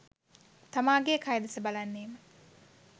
තමාගේ කය දෙස බලන්නේම